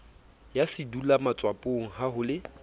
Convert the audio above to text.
ya sedulwamatswapong ha ho le